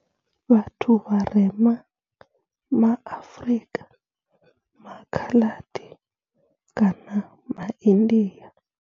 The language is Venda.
Vhathu vharema ma Afrika, ma Khaladi kana ma India.